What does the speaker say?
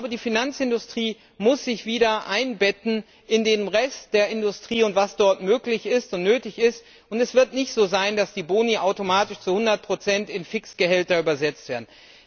Die Finanzindustrie muss sich wieder einbetten in den Rest der Industrie und in das, was dort möglich und nötig ist. Es wird nicht so sein, dass die Boni automatisch zu 100 in Fixgehälter übersetzt werden.